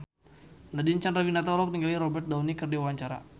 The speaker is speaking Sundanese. Nadine Chandrawinata olohok ningali Robert Downey keur diwawancara